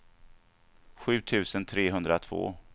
sju tusen trehundratvå